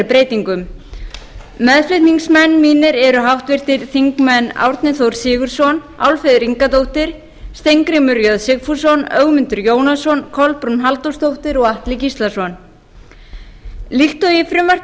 breytingum meðflutningsmenn mínir eru háttvirtir þingmenn árni þór sigurðsson álfheiður ingadóttir steingrímur j sigfússon ögmundur jónasson kolbrún halldórsdóttir og atli gíslason líkt og í frumvarpi